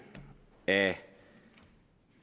af